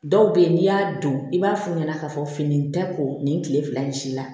Dɔw be yen n'i y'a don i b'a f'u ɲɛna k'a fɔ fini in tɛ ko nin kile fila nin si la